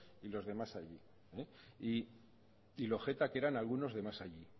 y los de más allí y lo geta que eran algunos de más allí